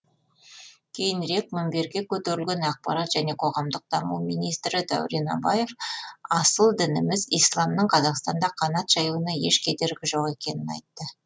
кейінірек мінберге көтерілген ақпарат және қоғамдық даму министрі дәурен абаев асыл дініміз исламның қазақстанда қанат жаюына еш кедергі жоқ екенін айтты